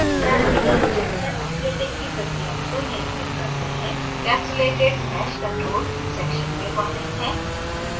parameters जो cell splitting की प्रक्रिया को नियंत्रित करते हैं castellatedmeshcontrols section में वर्णित है